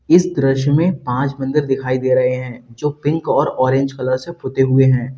इस दृश्य में पांच मंदिर दिखाई दे रहे हैं जो पिक और ऑरेंज कलर से पुते हुए हैं।